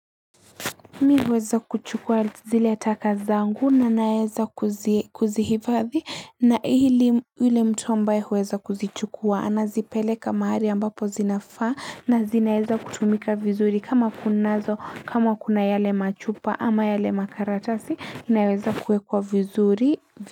Miweza kuchukua zile taka zangu nanaeza kuzihivathi na hili ule mtu ambaye huweza kuzichukua anazipeleka mahari ambapo zinafaa na zinaeza kutumika vizuri kama kunazo kama kuna yale machupa ama yale makaratasi inaweza kuwekwa vizuri.